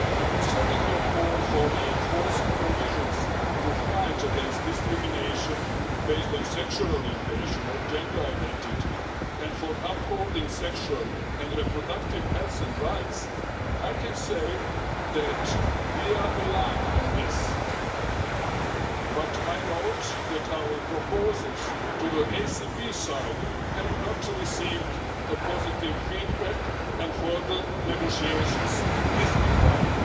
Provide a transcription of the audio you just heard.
Concerning your call for reinforcing provisions to fight against discrimination based on sexual orientation or gender identity, and for upholding sexual and reproductive health and rights, I can say that we are aligned on this but I note that our proposals to the ACP side have not received a positive feedback and further negotiation is required.